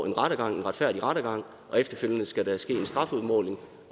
en retfærdig rettergang og efterfølgende skal der ske en strafudmåling